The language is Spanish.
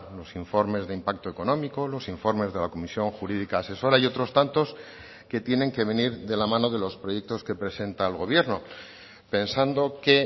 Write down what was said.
los informes de impacto económico los informes de la comisión jurídica asesora y otros tantos que tienen que venir de la mano de los proyectos que presenta el gobierno pensando que